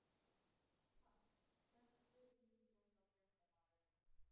Pass Besti íþróttafréttamaðurinn?